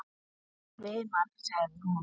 Mig svimar, sagði hún.